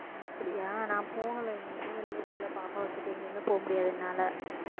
அப்படியா நான் போகலை எங்கயுமே வெளியிலே போகலை பாப்பாவை வச்சுட்டு எங்கேயுமே போக முடியாது என்னாலே